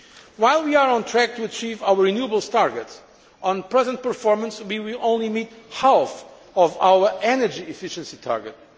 While we are on track to achieve our renewables targets, on present performance we will only meet half of our energy efficiency targets.